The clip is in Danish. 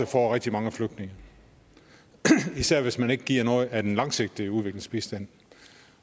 får rigtig mange flygtninge især hvis man ikke giver noget af den langsigtede udviklingsbistand